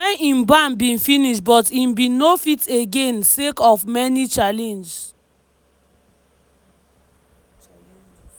wen im ban bin finish but im bin no fit again sake of many challenges.